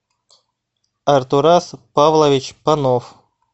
артурас павлович панов